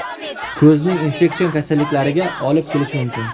Ko‘zning infeksion kasalliklariga olib kelishi mumkin.